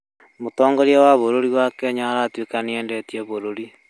Mũtongoria wa bũrũri wa kenya arĩtuĩka nĩ endetie bũrũri